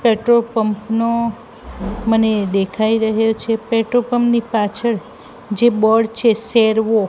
petrol pump નો મને દેખાય રહ્યો છે પેટ્રોલ પંપ ની પાછળ જે બોર્ડ છે સેર્વો --